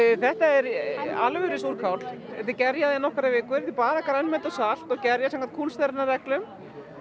þetta er alvöru súrkál gerjað í nokkrar vikur þetta bara grænmeti og salt og gerjað samkvæmt kúnstarinnar reglum